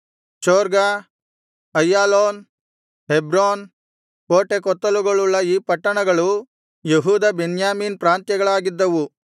ಚೊರ್ಗ Aijalon Hebron ಕೋಟೆಕೊತ್ತಲುಗಳುಳ್ಳ ಈ ಪಟ್ಟಣಗಳು ಯೆಹೂದ ಬೆನ್ಯಾಮೀನ್ ಪ್ರಾಂತ್ಯಗಳಾಗಿದ್ದವು